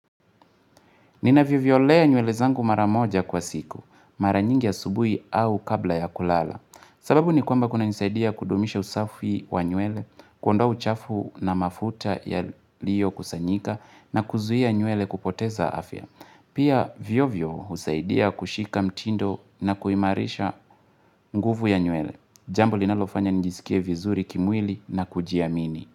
Ninavyoviolea nywele zangu mara moja kwa siku, mara nyingi asubui au kabla ya kulala. Sababu ni kwamba kunanisaidia kudumisha usafi wa nywele, kuondoa uchafu na mafuta yaliyokusanyika na kuzuia nywele kupoteza afya. Pia vio vio usaidia kushika mtindo na kuimarisha nguvu ya nywele. Jambo linalofanya njisikie vizuri kimwili na kujiamini.